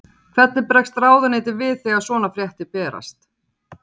Hvernig bregst ráðuneytið við þegar svona fréttir berast?